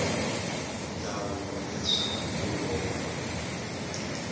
ndzawulo ya swa nkulo wa